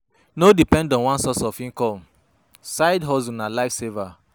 No depend on one source of income, side hustle na life saver